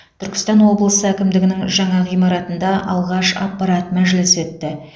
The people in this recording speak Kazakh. түркістан облысы әкімдігінің жаңа ғимаратында алғаш аппарат мәжілісі өтті